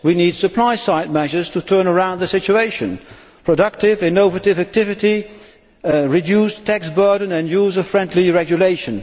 We need supply side measures to turn around the situation productive, innovative activities, reduced tax burdens and user friendly regulation.